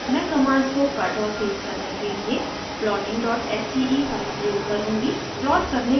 मैं कमांड्स को कट और पेस्ट करने के लिए plottingsce फाइल प्रयोग करुँगी